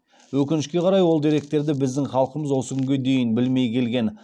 өкінішке қарай ол деректерді біздің халқымыз осы күнге дейін білмей келген